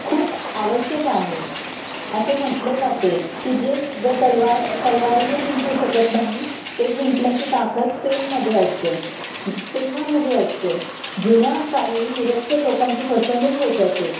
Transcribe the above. खूप आवश्यक आहे असे म्हणले जाते की जे युद्ध तलवार अ तलवारीने जिंकू शकत नाही ते जिंकण्याची ताकत पेन मध्ये आसते पेना मध्ये असते जुन्या काळी निरक्षर लोकांची फसवणूक होत असे